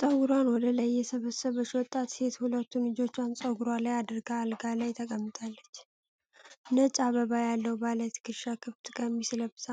ጠጉሯን ወደ ላይ የሰበሰበች ወጣት ሴት ሁለቱን እጆቿን ፀጉሯ ላይ አድርጋ አልጋ ላይ ተቀምጣለች። ነጭ አበባ ያለው ባለ ትከሻ-ክፍት ቀሚስ ለብሳ፣